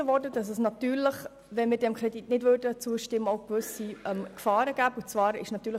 Wir wurden darauf hingewiesen, dass gewisse Gefahren bestünden, sollte der Kredit vom Grossen Rat abgelehnt werden.